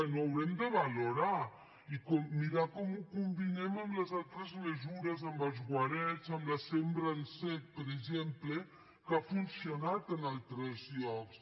ho haurem de valorar i mirar com ho combinem amb les altres mesures amb els guarets amb la sembra en sec per exemple que ha funcionat en altres llocs